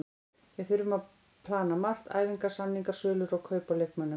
Við þurfum að plana margt, æfingar, samningar, sölur og kaup á leikmönnum.